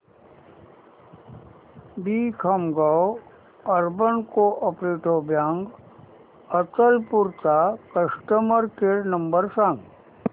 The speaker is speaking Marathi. दि Khamgaon urban cooperative bank Achalpur चा कस्टमर केअर नंबर सांग